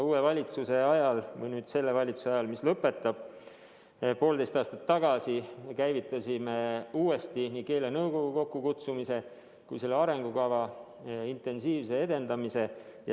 Uue valitsuse ajal – selle valitsuse ajal, mis nüüd lõpetab – poolteist aastat tagasi kutsusime uuesti kokku nii keelenõukogu kui ka käivitasime selle arengukava intensiivse edendamise.